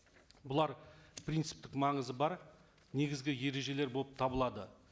бұлар принциптік маңызы бар негізгі ережелер болып табылады